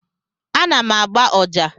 Ana m agba ọjà.